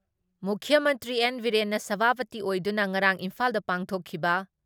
ꯃꯨꯈ꯭ꯌ ꯃꯟꯇ꯭ꯔꯤ ꯑꯦꯟ. ꯕꯤꯔꯦꯟꯅ ꯁꯚꯥꯄꯇꯤ ꯑꯣꯏꯗꯨꯅ ꯉꯔꯥꯡ ꯏꯝꯐꯥꯜꯗ ꯄꯥꯡꯊꯣꯛꯈꯤꯕ